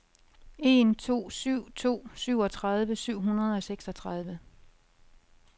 en to syv to syvogtredive syv hundrede og seksogtredive